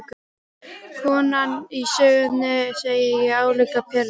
Konan í sögunni, segi ég álíka pirruð.